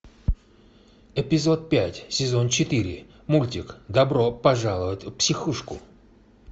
эпизод пять сезон четыре мультик добро пожаловать в психушку